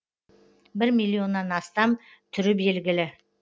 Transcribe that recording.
бір миллионнан астам түрі белгілі